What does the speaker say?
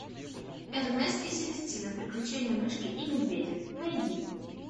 эрнест и селестина приключения мышки и медведя найди